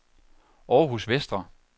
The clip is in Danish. Århus Vestre